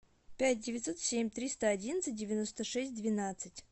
пять девятьсот семь триста одиннадцать девяносто шесть двенадцать